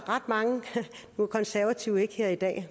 mange nu er konservative ikke her i dag